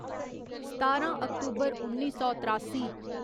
सतारां अक्तूबर उन्नी सौ त्रासी